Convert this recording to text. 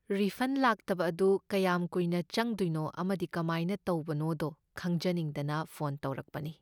refund ꯂꯥꯛꯇꯕ ꯑꯗꯨ ꯀꯌꯥꯝ ꯀꯨꯏꯅ ꯆꯪꯗꯣꯏꯅꯣ ꯑꯃꯗꯤ ꯀꯃꯥꯏꯅ ꯇꯧꯕꯅꯣꯗꯣ ꯈꯪꯖꯅꯤꯡꯗꯅ ꯐꯣꯟ ꯇꯧꯔꯛꯄꯅꯤ